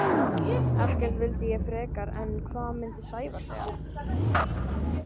Ekkert vildi ég frekar en hvað myndi Sævar segja?